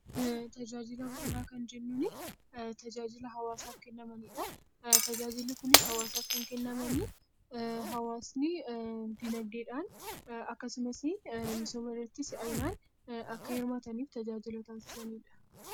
Tajaajila bu'uuraa kan jennuun, tajaajila hawaasaaf kennamanidha. Tajaajilli kunis hawaasaaf kan kennaman hawaasni akkasumas dinaagdeedhaan misooma irratti akka si'aawu kan taasisanidha.